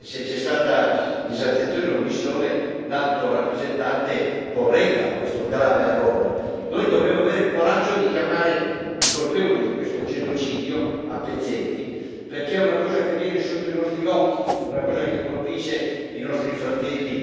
se c'è stata disattenzione o omissione, l'Alto rappresentante corregga questo grave errore. Noi dobbiamo avere il coraggio di chiamare i colpevoli di questo genocidio, a pezzetti, perché è una cosa che avviene sotto i nostri occhi, una cosa che colpisce i nostri fratelli